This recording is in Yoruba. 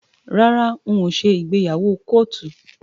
Rárá n ò ṣe ìgbéyàwó kóòtù.